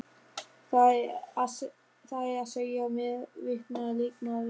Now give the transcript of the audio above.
Það er að segja meðvitaður leikmaður.